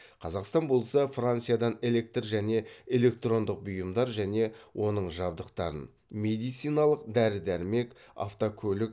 қазақстан болса франциядан электр және электрондық бұйымдар және оның жабдықтарын медициналық дәрі дәрмек автокөлік